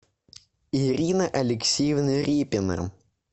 ирина алексеевна репина